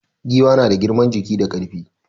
Giwa na da girman jiki ga ƙarfi.